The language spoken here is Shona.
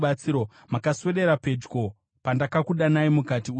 Makaswedera pedyo pandakakudanai, mukati, “Usatya.”